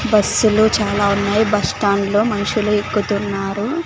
బస్సులు చాలా ఉన్నాయి బస్టాండ్ లో మనుషులు ఎక్కుతున్నారు.